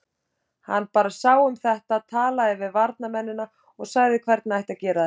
Hann bara sá um þetta, talaði við varnarmennina og sagði hvernig ætti að gera þetta.